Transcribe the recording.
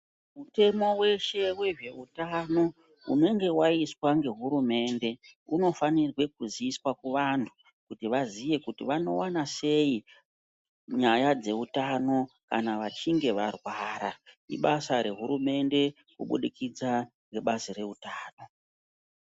Mutemo weshe wezvehutano unenge waiswa nehurumende unofanira kuziiswa muvantu kuti vazive kuti vanowana sei nyaya dzehutano kana vachinge varwara ibasa rehurumemnde kuburikidza ngebazi rehutano.